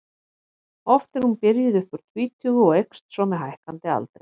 Oft er hún byrjuð upp úr tvítugu og eykst svo með hækkandi aldri.